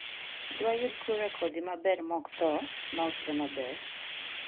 Dwayud kure kodhi maber mokthoo mausre maber?